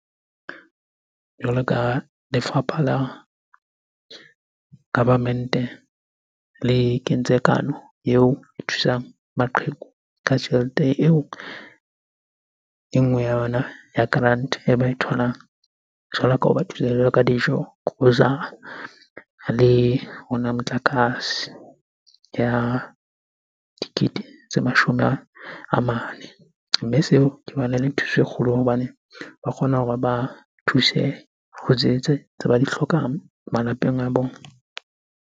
Jwalo ka lefapha la government-e le kentse kano eo e thusang maqheku ka tjhelete eo. E nngwe ya yona ya grant-e e ba e tholang jwalo ka hoba thusa jwalo ka dijo, grocer-ra, le motlakase ya dikete tse mashome a mane. Mme seo ke bona ele thuso e kgolo hobane ba kgona hore ba thuse ho tse, tse ba di hlokang malapeng a bona.